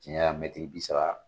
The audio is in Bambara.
Janya mɛtiri bi saba.